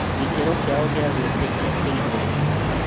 Gĩ kĩ ro kĩ ao gĩ a kwĩ ĩ tĩ kia kĩ igũrũ.